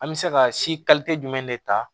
An bɛ se ka si jumɛn de ta